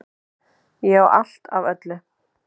Ég á allt af öllu!